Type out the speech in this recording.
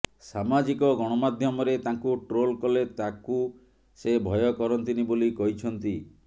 ସାମାଜିକ ଗଣମାଧ୍ୟମରେ ତାଙ୍କୁ ଟ୍ରୋଲ୍ କଲେ ତାକୁ ସେ ଭୟ କରନ୍ତିନି ବୋଲି କହିଛନ୍ତି